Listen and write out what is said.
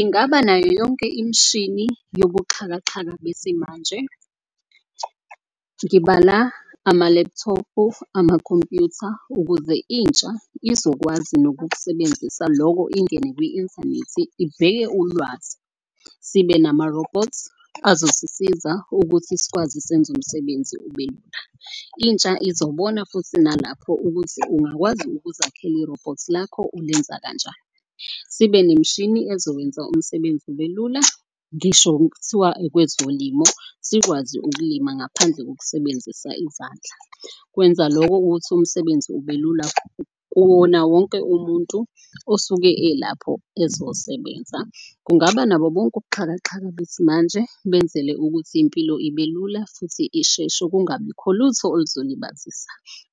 Ingaba nayo yonke imshini yobuxhakaxhaka besimanje. Ngibala ama-laptop-u, amakhompuyutha ukuze intsha izokwazi nokukusebenzisa loko ingene kwi-inthanethi ibheke ulwazi. Sibe namarobhothi azosisiza ukuthi sikwazi senze umsebenzi ubelul. Intsha izobona futhi nalapho ukuthi ungakwazi ukuzakhela irobhothi lakho ulenza kanjani. Sibe nemishini ezokwenza umsebenzi ube lula, ngisho kuthiwa okwezolimo sikwazi ukulima ngaphandle kokusebenzisa izandla. Kwenza loko ukuthi umsebenzi ubelula kuwona wonke umuntu osuke elapho, ezosebenza. Kungaba nabo bonke ubuxhakaxhaka besimanje benzele ukuthi impilo ibe lula futhi isheshe kungabikho lutho oluzolibazisa.